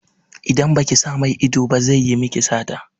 Idan baki sa mai ido ba zai yi miki sata.